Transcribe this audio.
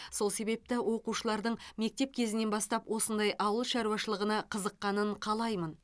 сол себепті оқушылардың мектеп кезінен бастап осындай ауыл шаруашылығына қызыққанын қалаймын